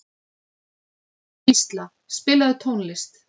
Gísla, spilaðu tónlist.